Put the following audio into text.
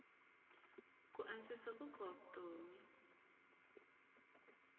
ku antswisa nkoka wa vutomi